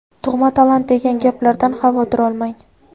tug‘ma talant degan gaplardan xavotir olmang.